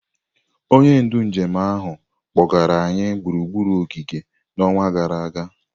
Onye ndu njem ahụ kpọgara anyị gburugburu ogige n'ọnwa gara aga.